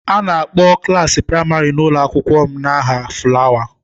A na-akpọ klaasị praịmarị n'ụlọ akwụkwọ m n'aha fulawa.